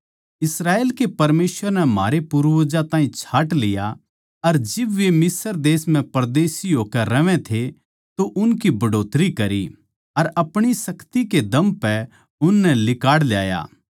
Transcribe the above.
इस्राएल के परमेसवर नै म्हारै पूर्वजां ताहीं छाँट लिया अर जिब वे मिस्र देश म्ह परदेशी होकै रहवै थे तो उनकी बढ़ोतरी करी अर अपणी शक्ति के दम पै उननै लिकाड़ ल्याया